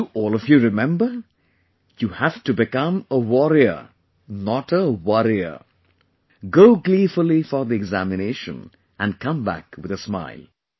Do all of you remember You have to become a warrior not a worrier, go gleefully for the examination and come back with a smile